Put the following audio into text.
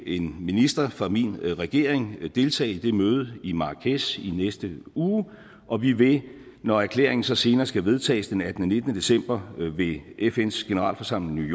en minister fra min regering deltage i det møde i marrakech i næste uge og vi vil når erklæringen så senere skal vedtages den attende nitten december ved fns generalforsamling i